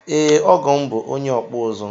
Ee, ọgọ m bụ onye ọkpụ ụzụ